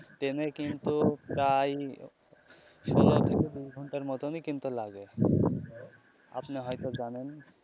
ট্রেনে কিন্তু প্রায় ষোলো থেকে কুড়ি ঘন্টার মতন ই কিন্তু লাগে আপনি হয় তো জানেন.